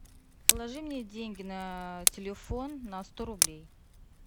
положи мне деньги на телефон на сто рублей